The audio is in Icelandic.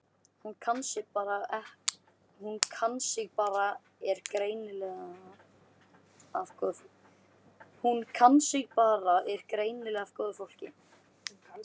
Hún kann sig bara er greinilega af góðu fólki.